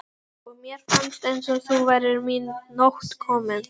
og mér fannst eins og nú væri mín nótt komin.